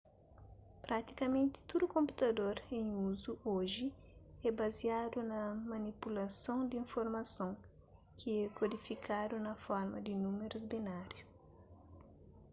pratikamenti tudu konputador en uzu oji é baziadu na manipulason di informason ki é kodifikadu na forma di númerus binariu